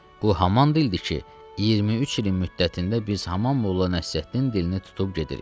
Bu haman dildir ki, 23 ilin müddətində biz haman Molla Nəsrəddin dilini tutub gedirik.